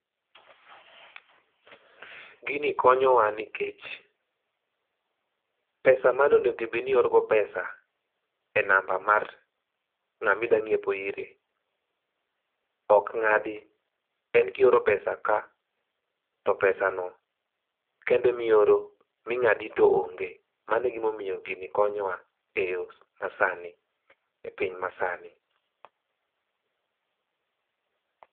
Gini konyowa nikech pesa mane onego bedni iorogo pesa e namba mar ng'amidwa ng'iepo ire okng'adi, en kioro pesa ka to pesano kende mioro ming'adi to onge. Mano e gimomomio gini konyowa e yoo masani e piny masani.